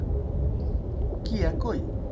কি একই?